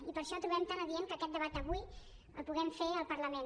i per això trobem tan adient que aquest debat avui el puguem fer al parlament